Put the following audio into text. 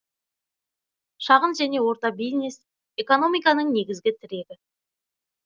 шағын және орта бизнес экономиканың негізігі тірегі